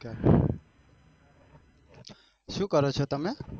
શું કરો છો તમે?